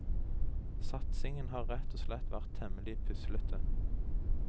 Satsingen har rett og slett vært temmelig puslete.